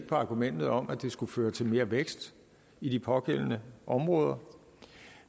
på argumentet om at det skulle føre til mere vækst i de pågældende områder